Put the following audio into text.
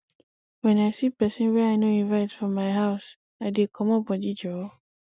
wen i see pesin wey i no invite for my for my house i dey comot body joor